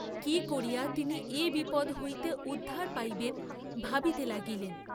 কি করিয়া তিনি এ বিপদ্ হইতে উদ্ধার পাইবেন ভাবিতে লাগিলেন।